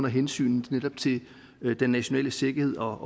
af hensyn til den nationale sikkerhed og